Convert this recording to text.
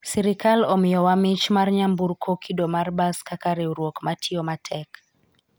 sirikal omiyo wa mich mar nyamburko kido mar bas kaka riwruok matiyo matek